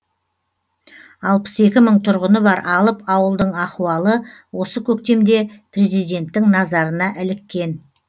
алпыс екі мың тұрғыны бар алып ауылдың ахуалы осы көктемде президенттің назарына іліккен